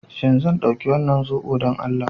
Shin zan ɗauki wannan zobo don Allah?